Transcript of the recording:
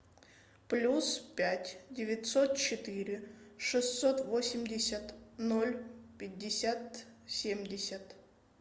плюс пять девятьсот четыре шестьсот восемьдесят ноль пятьдесят семьдесят